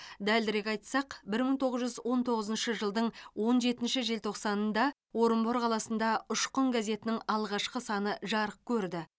дәлірек айтсақ бір мың тоғыз жүз он тоғызыншы жылдың он жетінші желтоқсанында орынбор қаласында ұшқын газетінің алғашқы саны жарық көрді